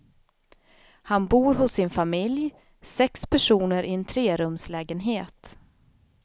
Han bor hos sin familj, sex personer i en trerumslägenhet.